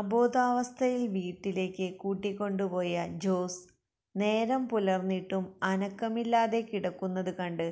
അബോധാവസ്ഥയിൽ വീട്ടിലേക്ക് കൂട്ടിക്കൊണ്ടുപോയ ജോസ് നേരം പുലർന്നിട്ടും അനക്കമില്ലാതെ കിടക്കുന്നത് കണ്ട്